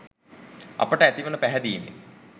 අපට ඇතිවෙන පැහැදීමෙන්.